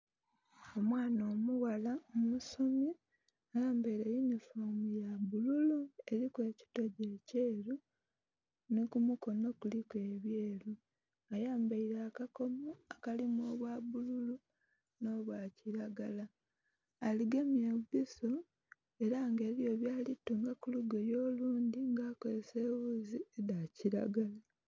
Omwana omughala omusomi ayambaile yunifoomu ya bbululu eliku ekitogyi ekyeru nhi ku mukono kuliku ebyeru. Ayambaile akakomo akalimu obwa bbululu nh'obwa kilagala. Agemye empiso, ela nga eliyo byali kutunga ku lugoye olundhi nga akozesa eghuzi edha kilagala.